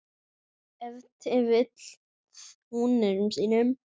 Ef til vill húninum sínum?